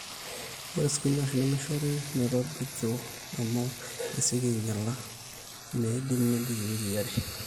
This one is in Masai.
ore sipinash nemeishori metobiki amu esioki aainyala meeidim nebik iwikii are